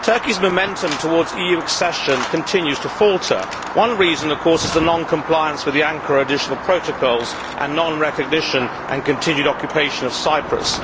Madam President, Turkey's momentum towards EU accession continues to falter. One reason, of course, is the non compliance with the Ankara Additional Protocols and non recognition and continued occupation of Cyprus.